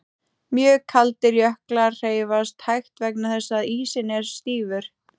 Mjög kaldir jöklar hreyfast hægt vegna þess að ísinn er stífur.